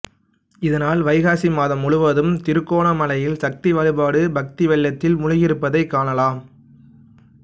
இதனால் வைகாசி மாதம் முழுவதும் திருகோணமலையில் சக்தி வழிபாட்டு பக்தி வெள்ளத்தில் மூழ்கியிருப்பதைக்காணலாம்